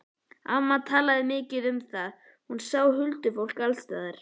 Amma talaði mikið um það, hún sá huldufólk alls staðar.